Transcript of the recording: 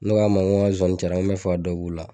Ne ko a ma ko n zonzani cayara n me fɛ ka dɔ b'u la